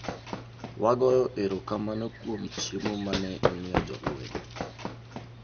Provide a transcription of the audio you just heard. Wagoyo erokamano kuom chiemo ma ne imiyo jolweny.